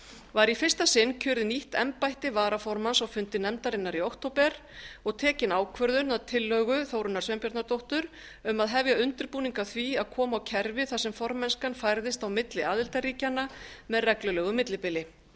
var í fyrsta sinn kjörið í nýtt embætti varaformanns á fundi nefndarinnar í október og tekin ákvörðun að tillögu þórunnar sveinbjarnardóttur um að hefja undirbúning að því að koma á kerfi þar sem formennskan færðist á milli aðildarríkjanna með reglulegu millibili